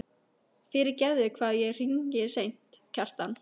Fyrirgefðu hvað ég hringi seint, Kjartan.